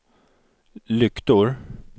lyktor